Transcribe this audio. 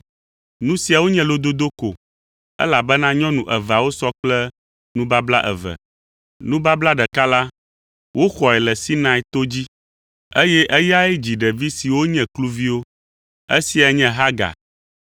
Nu siawo nye lododo ko, elabena nyɔnu eveawo sɔ kple nubabla eve. Nubabla ɖeka la, woxɔe le Sinai to dzi, eye eyae dzi ɖevi siwo nye kluviwo. Esia nye Hagar.